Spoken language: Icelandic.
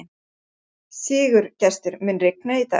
Sigurgestur, mun rigna í dag?